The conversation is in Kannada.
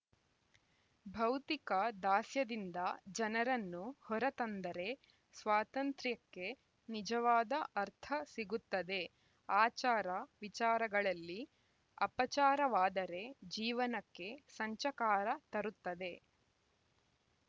ಭೌತಿಕ ದಾಸ್ಯದಿಂದ ಜನರನ್ನು ಹೊರತಂದರೆ ಸ್ವಾತಂತ್ರ್ಯಕ್ಕೆ ನಿಜವಾದ ಅರ್ಥ ಸಿಗುತ್ತದೆ ಆಚಾರವಿಚಾರಗಳಲ್ಲಿ ಅಪಚಾರವಾದರೆ ಜೀವನಕ್ಕೆ ಸಂಚಕಾರ ತರುತ್ತದೆ